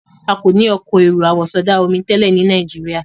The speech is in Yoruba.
A kọ ní Ọkọ̀ èrò àwọ̀sọdá-omi tẹlẹ ní Nàìjíríà.